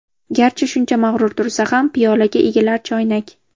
Garchi shuncha mag‘rur tursa ham, Piyolaga egilar choynak.